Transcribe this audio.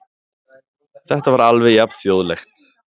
Þetta var alveg jafn þjóðlegt.